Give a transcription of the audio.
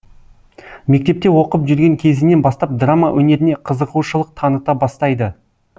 мектепте оқып жүрген кезінен бастап драма өнеріне қызығушылық таныта бастайды